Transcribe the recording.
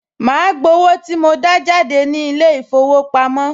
Màá gbowó tí mo dá jáde ní ilé-ìfowópamọ́